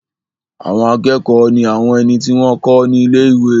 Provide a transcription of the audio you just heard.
Àwọn akẹ́kọ̀ọ́ ní àwọn ẹni tí wọ́n n kọ́ ní ilé-ìwé